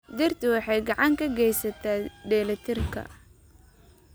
Dhirtu waxay gacan ka geysataa dheellitirka.